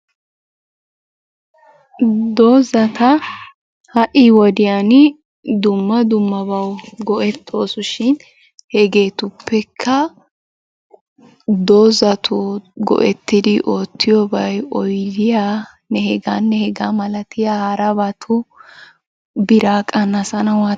Dozata ha'i wodiyan dumma dummabawu go'ettoosu shin hegeetuppekka dozatun go'ettidi oottiyobay oyidiyanne hegaanne hegaa malatiya harabatu biraa qannasanawu maaddes.